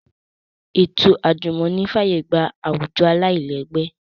Ètò àjùmọ̀ní fàyè gba àwùjọ aláìlẹ́gbẹ́